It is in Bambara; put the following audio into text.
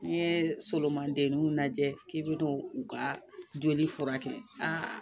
N'i ye solondɛnniw lajɛ k'i bɛ n'u ka joli furakɛ aa